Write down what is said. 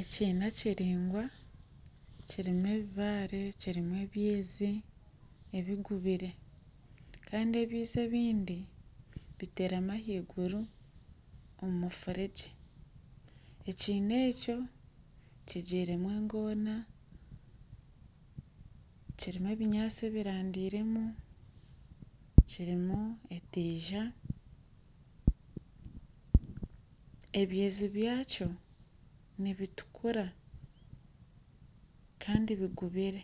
Ekiina kiringwa kirimu ebibaare kirimu ebiizi ebigubire kandi ebiizi ebindi biterami ahaiguru omu mufuregye ekiina ekyo kigiremu engoona kirimu ebinyaatsi ebiraandiremu kirimu etiiza, ebiizi byakyo nibitukura kandi bigubire